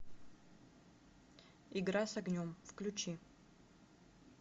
игра с огнем включи